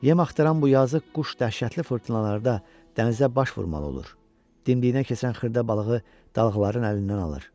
Yem axtaran bu yazıq quş dəhşətli fırtınalarda dənizə baş vurmalı olur, dimdiyinə keçən xırda balığı dalğaların əlindən alır.